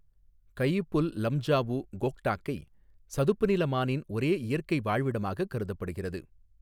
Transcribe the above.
கயிபுல் லம்ஜாஊ, கோக்டாக்கை, சதுப்புநில மானின் ஒரே இயற்கை வாழ்விடமாகக் கருதப்படுகிறது.